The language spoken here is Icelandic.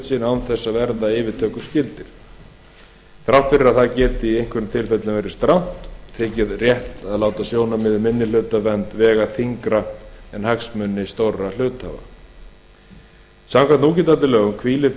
sinn án þess að verða yfirtökuskyldir þrátt fyrir að það geti í einhverjum tilfellum verið strangt þykir rétt að láta sjónarmið um minnihlutavernd vega þyngra en hagsmuni stórra hluthafa samkvæmt núgildandi lögum hvílir